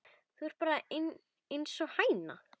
Þú ert bara einsog hæna.